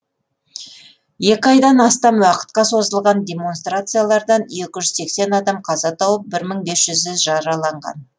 екі айдан астам уақытқа созылған демонстрациялардан екі жүз сексен адам қаза тауып бір мың бес жүзі жараланған